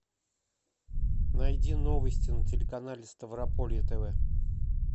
найди новости на телеканале ставрополье тв